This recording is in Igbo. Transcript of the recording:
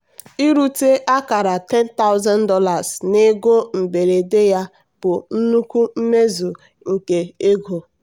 irute akara $10000 na ego mberede ya bụ nnukwu mmezu nke ego.